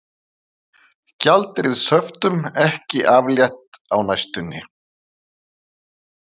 Gjaldeyrishöftum ekki aflétt á næstunni